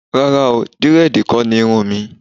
Rárá o, Dírẹ́dìì kọ́ ni irun mi.